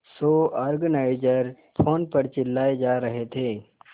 show organiser phone पर चिल्लाए जा रहे थे